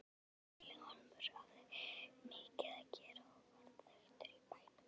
Vilhjálmur hafði mikið að gera og varð þekktur í bænum.